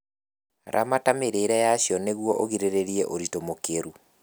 Ramata mĩrĩre yacio nĩguo ũgirĩrĩrie ũritũ mũkĩru